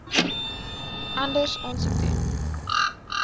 anders aansoek doen